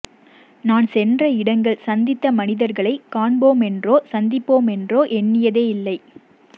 நான் சென்ற இடங்கள் சந்தித்த மனிதர்களை காண்போமென்றோ சந்திப்போம் என்றோ எண்ணியதே இல்லை